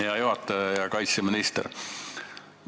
Hea juhataja ja kaitseminister!